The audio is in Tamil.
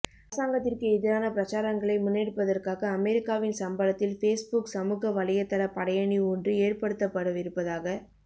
அரசாங்கத்திற்கு எதிரான பிரசாரங்களை முன்னெடுப்பதற்காக அமெரிக்காவின் சம்பளத்தில் பேஸ்புக் சமூக வலையத்தள படையணி ஒன்று ஏற்படுத்தப்படவிருப்பதாக